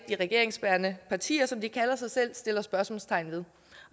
de regeringsbærende partier som de kalder sig selv ikke sætter spørgsmålstegn ved